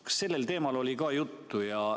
Kas sellest oli juttu?